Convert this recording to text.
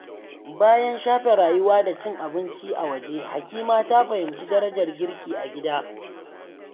Bayan shafe rayuwa da cin abinci a waje, Hakima ta fahimci darajar girki a gida.